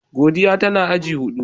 Godiya tana agi hudu.